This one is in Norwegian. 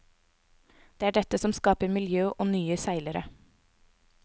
Det er dette som skaper miljø og nye seilere.